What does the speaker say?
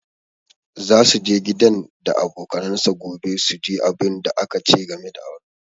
Za su je gidan da abokanansa gobe su ji abunda aka ce game da auransa